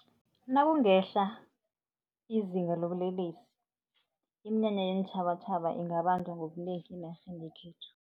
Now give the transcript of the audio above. Nakungehla izinga lobulelesi, iminyanya yeentjhabatjhaba ingabanjwa ngobunengi enarheni yekhethu.